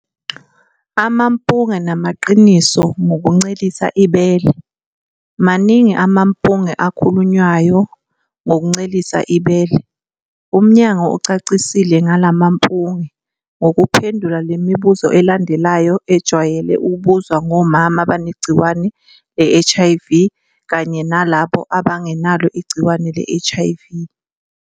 Amampunge namaqiniso ngokuncelisa ibele. Maningi amampunge akhulunywayo ngokuncelisa ibele, umnyango ucacise ngalamampunge ngokuphendula le mibuzo elandelayo ejwayele ukubuzwa ngomama abanegciwane le-HIV kanye nalabo abangenalo igciwane le-HIV.